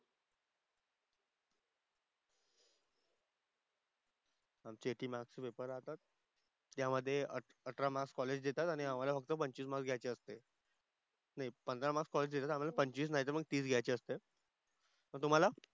आमचे एटी मार्क्सचे पेपर राहतात. त्यामधे अठ अठरा मार्क्स कॉलेज देतात आणि आम्हाला फक्त पंचवीस मार्क्स घ्यायचे असते. नाही पंधरा मार्क्स कॉलेज देतात आम्हाला पंचवीस नाहीतर मग तीस घ्यायचे असतात. मग तुम्हाला?